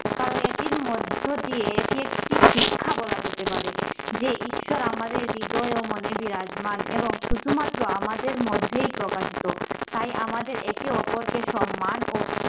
কারণ এটির মধ্য দিয়ে এটি একটি শিক্ষা বলা যেতে পারে যে ঈশ্বর আমাদের হৃদয়ও মনে বিরাজমান এবং শুধুমাত্র আমাদের মধ্যেই প্রকাশিত। তাই আমাদের একে অপরকে সম্মান ও